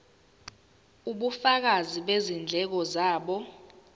ubufakazi bezindleko zabo